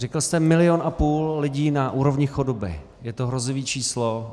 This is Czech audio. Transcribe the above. Řekl jste milion a půl lidí na úrovni chudoby, je to hrozivé číslo.